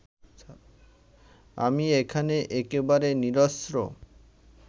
আমি এখানে একেবারে নিরস্ত্র